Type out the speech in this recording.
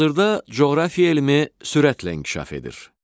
Hazırda coğrafiya elmi sürətlə inkişaf edir.